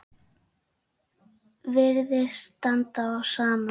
Virðist standa á sama.